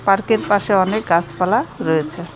পার্কের পাশে অনেক গাছপালা রয়েছে.